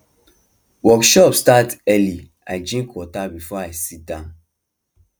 workshop start early i drink water before i sit down